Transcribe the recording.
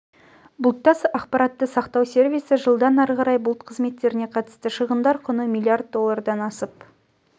бұлтта ақпаратты сақтау сервисі жылдан ары қарай бұлт қызметтеріне қатысты шығындар құны млрд доллардан асып